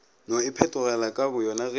no iphetogela ka boyona ge